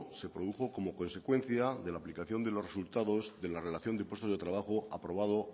se produjo como consecuencia de la aplicación de los resultados de la relación de los puestos de trabajo aprobado